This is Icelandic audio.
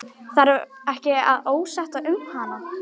Þarf ekki að óttast um hana.